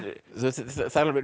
alveg